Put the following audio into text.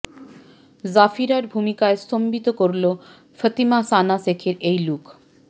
জাফিরার ভূমিকায় স্তম্ভিত করল ফতিমা সানা শেখের এই লুক